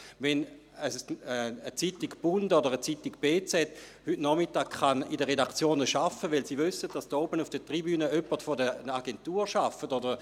Zeitungen wie «Der Bund» oder die «BZ» können heute Nachmittag in den Redaktionen arbeiten, weil sie wissen, dass hier oben auf der Tribüne jemand von einer Agentur arbeitet.